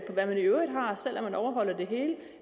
hvad den i øvrigt har selv om den overholder det hele